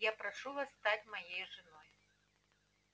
я прошу вас стать моей женой